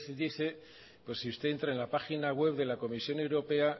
dice pues si usted entra en la página web de la comisión europea